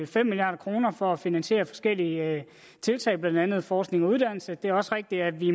fem milliard kroner for at finansiere forskellige tiltag blandt andet forskning og uddannelse det er også rigtigt at vi